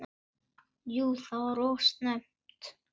Jú það var of snemmt.